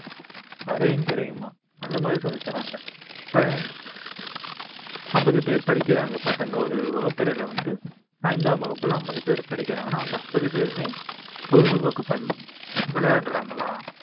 அறையும் குறையுமா அந்த மாதிரி சொல்லித்தராங்க இப்ப ஐம்பது பேர் படிக்கிறாங்க பசங்க ஒரு வகுப்பறையில வந்து ஐந்தாம் வகுப்புல ஐம்பது பேர் படிக்கிறாங்கன்னா அந்த ஐம்பது பேருமே பொழுதுபோக்கு பன்~ விளையாடுறாங்களா